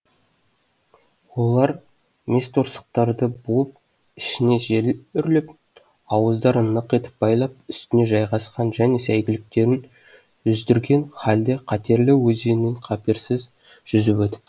олар мес торсықтарды буып ішіне жел үрлеп ауыздарын нық етіп байлап үстіне жайғасқан және сәйгүліктерін жүздірген халде қатерлі өзеннен қаперсіз жүзіп өтіпті